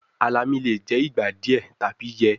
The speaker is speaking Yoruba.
Alami le jẹ igba diẹ tabi yẹ